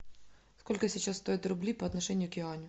сколько сейчас стоят рубли по отношению к юаню